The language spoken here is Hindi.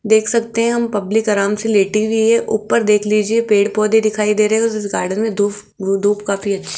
देख सकते हैं हम पब्लिक आराम से लेटी हुई है ऊपर देख लीजिए पेड़-पौधे दिखाई दे रहे है उसे गार्डन में धूप धूप काफी अच्छी--